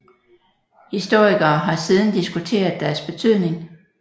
Historikere har siden diskuteret deres betydning